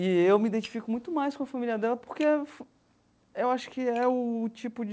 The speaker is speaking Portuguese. E eu me identifico muito mais com a família dela porque eu acho que é o tipo de...